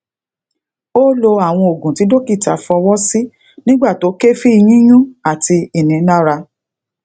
o lo awon ogun ti dokita fowo si nigba to kefi yiyun ati inilara